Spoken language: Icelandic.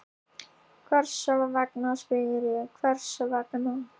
Hvers vegna, spyr ég, hvers vegna?